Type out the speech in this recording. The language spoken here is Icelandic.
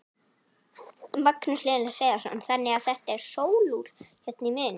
Magnús Hlynur Hreiðarsson: Þannig að þetta sólúr hérna í miðjunni?